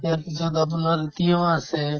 ইয়াৰ পিছত আপোনাৰ তিয়ঁহ আছে